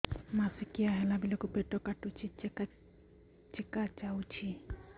ମାସିକିଆ ହେଲା ବେଳକୁ ପେଟ କାଟୁଚି ଚେକା ଚେକା ଯାଉଚି